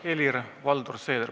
Helir-Valdor Seeder.